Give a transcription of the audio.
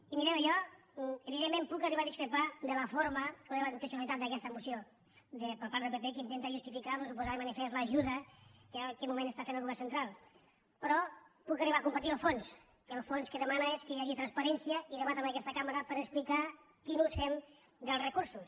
i mireu jo evidentment puc arribar a discrepar de la forma de la intencionalitat d’aquesta moció per part del pp que intenta justificar doncs o posar de manifest l’ajuda que en aquest moment està fent el govern central però puc arribar a compartir el fons que el fons el que demana és que hi hagi transparència i debat en aquesta cambra per explicar quin ús fem dels recursos